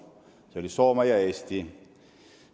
Need olid Soome ja Eesti.